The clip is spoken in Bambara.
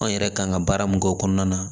An yɛrɛ kan ka baara min k'o kɔnɔna na